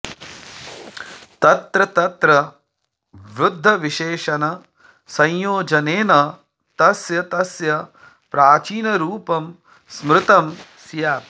तत्र तत्र वृद्धविशेषणसंयोजनेन तस्य तस्य प्राचीनरूपं स्मृतं स्यात्